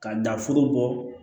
Ka dan foro bɔ